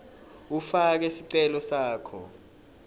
ufake sicelo sakho